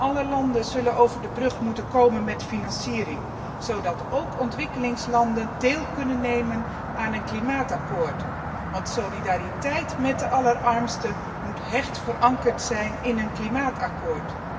Alle landen zullen over de brug moeten komen met financiering, zodat ook ontwikkelingslanden kunnen deelnemen aan een klimaatakkoord, want solidariteit met de allerarmsten moet hecht verankerd zijn in een klimaatakkoord.